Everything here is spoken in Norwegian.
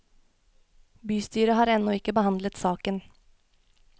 Bystyret har ennå ikke behandlet saken.